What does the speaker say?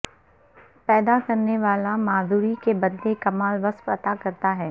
پیدا کرنے والا معذوری کے بدلے کمال وصف عطا کرتا ہے